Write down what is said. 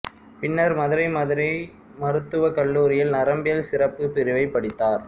பின்னர் மதுரை மதுரை மருத்துவக் கல்லூரியில் நரம்பியல் சிறப்பு பிரிவை படித்தார்